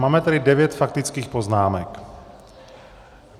Máme tady devět faktických poznámek.